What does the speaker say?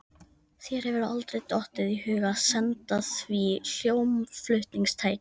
Þér hefur aldrei dottið í hug að senda því hljómflutningstæki?